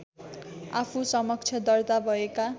आफूसमक्ष दर्ता भएका